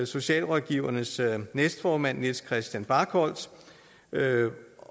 socialrådgiverforenings næstformand niels christian barkholt